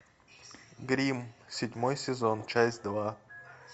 гримм седьмой сезон часть два